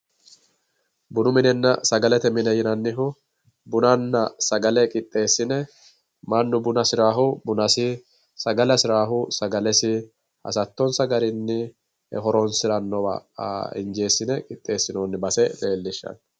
Bunu minenna sagalete mine yinannihu bunanna sagale qixxeessine mannu buna hasirahu buna, sagale hasi'rahu sagalesi hasattonsa garinni horonsi'rannowa injeessi'ne qixxessinoonni baseeti.